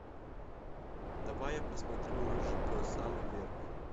давай я посмотрю рыжий пес самый верный